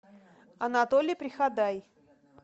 анатолий приходай